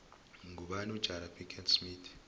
ngubani ujada pickett smith